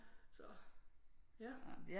Så ja